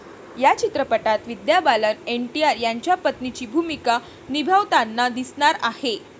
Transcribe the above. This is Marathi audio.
या चित्रपटात विद्या बालन एनटीआर यांच्या पत्नीची भूमिका निभावताना दिसणार आहे.